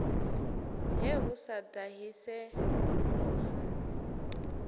he hu sa ṱahise lufu